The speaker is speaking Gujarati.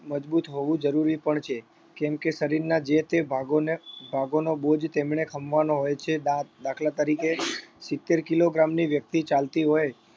મજબૂત હોવું જરૂરી પણ છે કેમ કે શરીરના જે તે ભાગોને ભાગોનો બોજ તેમને ખમવાનો હોય છે દા દાખલા તરીકે સિત્તેર kilogram ની વ્યક્તિ ચાલતી હોય